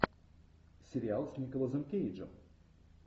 сериал с николасом кейджем